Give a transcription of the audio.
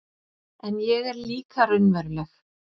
En ég er líka raunveruleg